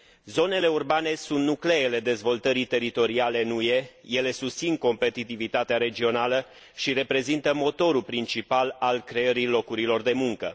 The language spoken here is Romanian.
Zonele urbane sunt nucleele dezvoltării teritoriale în UE, ele susțin competitivitatea regională și reprezintă motorul principal al creării locurilor de muncă.